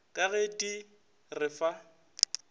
ka ge di re fa